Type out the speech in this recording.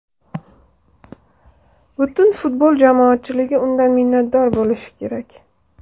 Butun futbol jamoatchiligi undan minnatdor bo‘lishi kerak.